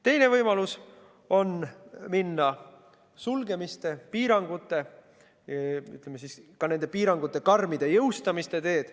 Teine võimalus on minna sulgemiste, piirangute, ütleme siis ka, piirangute karmide jõustamise teed.